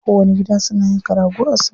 Kowanni gida suna yanka rago a salla.